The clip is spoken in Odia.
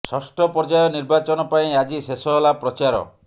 ଷଷ୍ଠ ପର୍ଯ୍ୟାୟ ନିର୍ବାଚନ ପାଇଁ ଆଜି ଶେଷ ହେଲା ପ୍ରଚାର